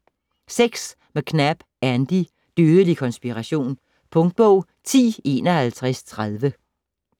McNab, Andy: Dødelig konspiration Punktbog 105130